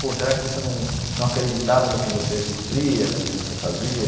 Pô, será que você não não acreditava no que você cumpria, no que você fazia?